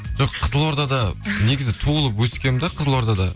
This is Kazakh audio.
жоқ қызылордада негізі туылып өскенмін де қызылордада